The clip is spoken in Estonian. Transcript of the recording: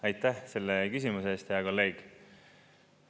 Aitäh selle küsimuse eest, hea kolleeg!